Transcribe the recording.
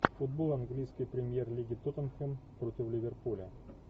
футбол английской премьер лиги тоттенхэм против ливерпуля